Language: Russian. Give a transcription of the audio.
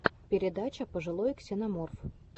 передача пожилой ксеноморф